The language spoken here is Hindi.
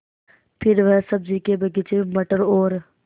फिर वह सब्ज़ी के बगीचे में मटर और